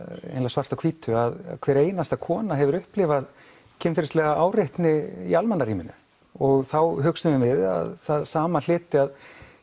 svart á hvítu að hver einasta kona hefur upplifað kynferðislega áreitni í og þá hugsuðum við að það sama hlyti að